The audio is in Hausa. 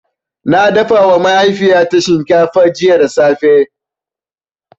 Na dafawa mahaifina shinkafa jiya da safe.